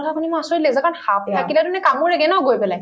কথা শুনি মোৰ আচৰিত লাগিছে কাৰণ সাপ থাকিলেতো এনে কামোৰেগে ন গৈ পেলায়